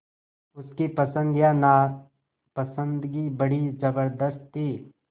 उसकी पसंद या नापसंदगी बड़ी ज़बरदस्त थी